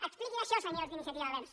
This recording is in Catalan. expliquin això senyors d’iniciativa verds